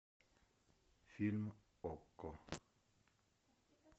фильм окко